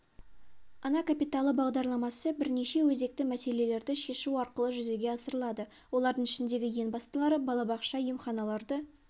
ана капиталы бағдарламасы бірнеше өзекті мәселелерді шешу арқылы жүзеге асырылады олардың ішіндегі ең бастылары балабақша емханаларды